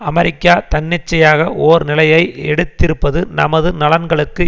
அமெரிக்க தன்னிச்சையாக ஓர் நிலையை எடுத்திருப்பது நமது நலன்களுக்கு